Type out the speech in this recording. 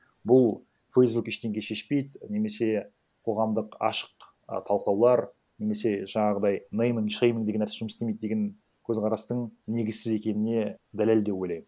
бұл фейсбук ештеңе шешпейді немесе қоғамдық ашық і талқылаулар немесе жаңағыдай нейман шейман деген нәрсе жұмыс істемейді деген көзқарастың негізсіз екеніне дәлел деп ойлаймын